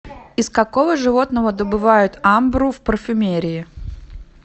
из какого животного добывают амбру в парфюмерии